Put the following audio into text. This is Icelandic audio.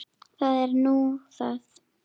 Það er nú það.